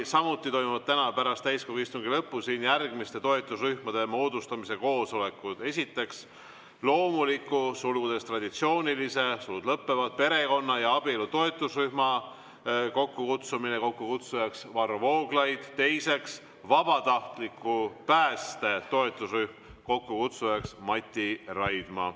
Samuti toimuvad täna pärast täiskogu istungi lõppu siin järgmiste toetusrühmade moodustamise koosolekud: esiteks, loomuliku perekonna ja abielu toetusrühma moodustamise koosolek, kokkukutsuja Varro Vooglaid; teiseks, vabatahtliku pääste toetusrühma moodustamise koosolek, kokkukutsuja Mati Raidma.